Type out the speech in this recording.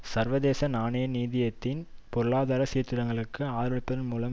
சர்வதேச நாணய நிதியத்தின் பொருளாதார சீர்திருத்தங்களுக்கு ஆதரவளிப்பதன் மூலம்